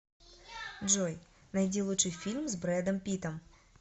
джой найди лучший фильм с брэдом питтом